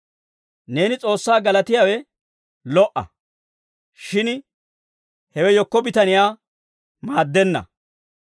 Neeni S'oossaa galatiyaawe lo"a; shin hewe yekko bitaniyaa maaddenna.